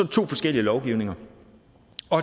to forskellige lovgivninger